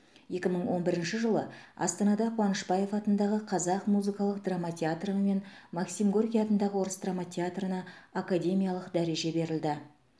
екі мың он бірінші жылы астанада қуанышбаев атындағы қазақ музыкалық драма театры мен максим горький атындағы орыс драма театрына академиялық дәреже берілді